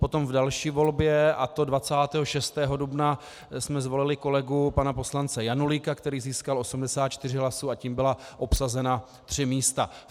Potom v další volbě, a to 26. dubna, jsme zvolili kolegu pana poslance Janulíka, který získal 84 hlasů, a tím byla obsazena tři místa.